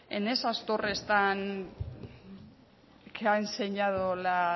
en esas torres tan que ha enseñado la